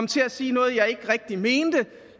til at sige noget jeg ikke rigtig mener